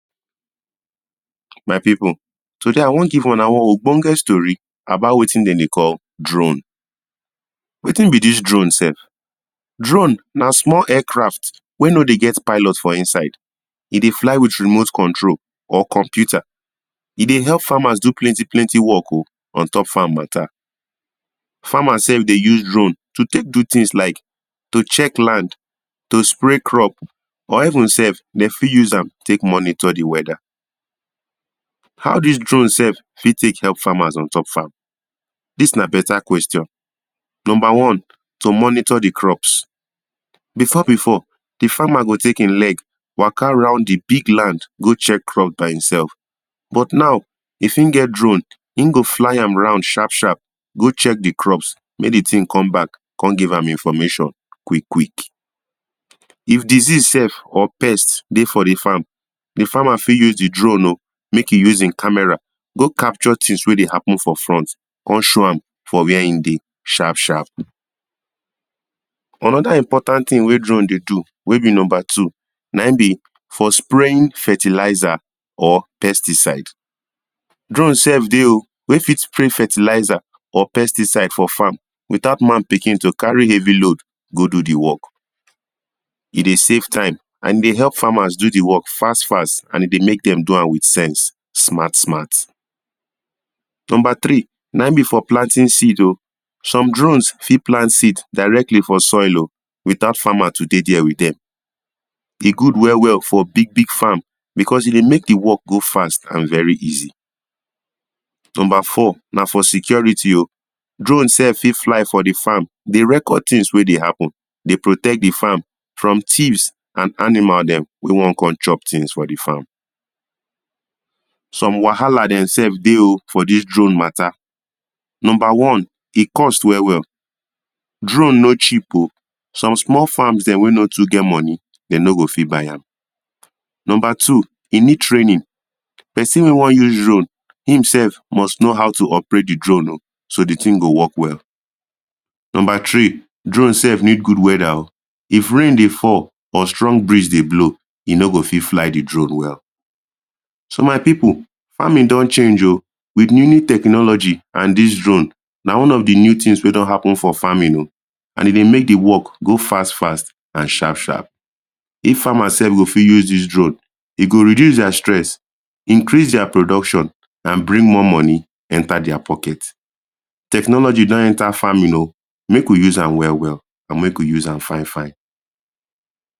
My people, today I one give una on ogbonge story about wetin dem dey call drone Wetin be dis drone sef? Drone na small aircraft wey no dey get pilot for inside E dey fly with remote control or computer E dey help farmers do plenty plenty work o, on top farm matter Farmers sef dey use drone to tek do things like: to check land, to spray crop, or even sef, dem fit use am tek monitor d weather How these drones sef fit tek help farmers on top farm? Dis na better question. Number one, to monitor the crops. Before before, di farmer go tek e leg, Waka round di big land go check crops by eself But now, if en get drone, en go fly am round sharp sharp go check di crops mek di thing come back come give am information quick quick If disease sef or pest dey for di farm, di farmer fit use the drone o, mek e use e camera, go capture things wey dey happen for front, come show am for where e dey, sharp sharp Anoda important thing wey drone dey do, wey be number two, naim be for spraying fertilizer or pesticide Drone sef dey o, wey fit spray fertilizer or pesticide for farm without man pikin to carry heavy load go do the work E dey save time, and e dey help farmers go do the work fast fast, dey mek am so am with sense, smart smart Number 3, naim be for planting seed o.Some drones fit plant seed directly for soil o, without farmer to dey there with dem E good well well for big big farm because e dey mek the work go fast, and very easy Number four, na for security o.Drone sef fit fly for di farm, dey record things wey dey happen, dey protect di farm from thieves and animals dem wey wan come chop something for the farm Some wahala dem sef dey o, for dis drone matter. Number one E cost well well, drone no cheap o. Some small farms dem wey no too get money dem no go fit buy am. Number 2, e need training person wey wan use drone, himself must know how to operate di drone so di thing go work well. Number three, drone sef need better weather o If rain dey fall, or strong breeze dey blow, e no go fit fly di drone well. So, my people, farming don change o. With new new technology and dis drone, na one of di new things wey don happen for farming o, and e dey mek di work go fast fast and sharp sharp If farmers sef go fit use dis drone, e go reduce their stress, increase their production, and bring more money enter their pockets